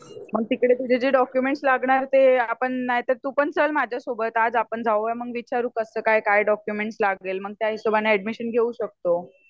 मग तिकडे तुझे जे डॉकयुमेंट्स लागणार ते आपण नायतर तू पण चल माझ्यासोबत आज आपण जाऊया मग विचारू कसं काय काय डॉकयुमेंट्स लागेल मग त्या हिशोबाने ऍडमिशन घेऊ शकतो